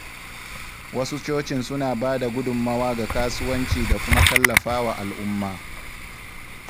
Wasu Cocin suna ba da gudummawa ga kasuwanci da kuma tallafawa al’umma.